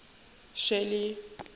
shelly